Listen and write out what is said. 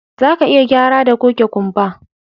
Zaka iya gyara da goge kumba